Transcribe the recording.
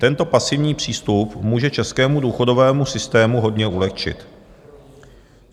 Tento pasivní přístup může českému důchodovému systému hodně ulehčit.